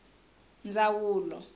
ndzawulo